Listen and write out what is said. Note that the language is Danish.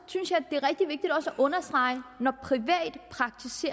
at understrege